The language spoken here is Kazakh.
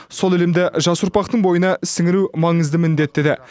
сол ілімді жас ұрпақтың бойына сіңіру маңызды міндет деді